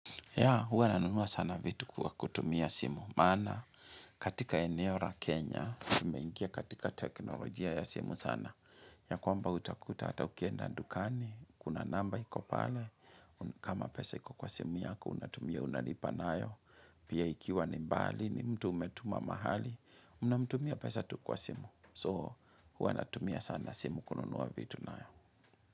Ya, huwa nanunua sana vitu kwa kutumia simu. Maana, katika eneo la Kenya, tumeingia katika teknolojia ya simu sana. Ya kwamba utakuta ata ukienda dukani, kuna namba iko pale. Kama pesa iko kwa simu yako, unatumia unalipa nayo. Pia ikiwa ni mbali, ni mtu umetuma mahali, unamtumia pesa tu kwa simu. So, huwa natumia sana simu kununua vitu nayo.